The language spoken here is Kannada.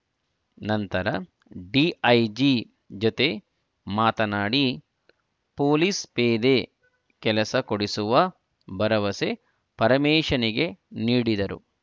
ನಂತರ ಡಿಐಜಿ ಜೊತೆ ಮಾತನಾಡಿ ಪೊಲೀಸ್‍ಪೇದೆ ಕೆಲಸ ಕೊಡಿಸುವ ಭರವಸೆ ಪರಮೇಶನಿಗೆ ನೀಡಿದರು